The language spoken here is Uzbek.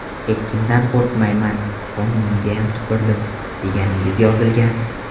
Hech kimdan qo‘rqmayman, qonuninggayam tupurdim” deganingiz yozilgan.